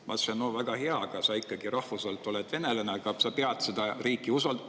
Ma ütlesin, et see on väga hea, rahvuselt oled sa ikkagi venelane, aga sa pead seda riiki usaldama.